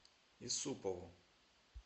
исупову